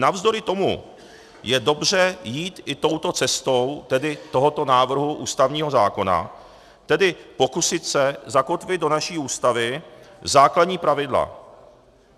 Navzdory tomu je dobře jít i touto cestou, tedy tohoto návrhu ústavního zákona, tedy pokusit se zakotvit do naší Ústavy základní pravidla.